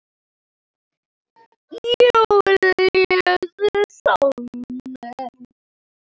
Júlíus Sólnes.